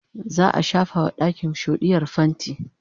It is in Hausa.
za'a shafa wa ɗakin shoɗiyar fainti